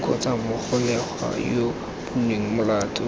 kgotsa mogolegwa yo bonweng molato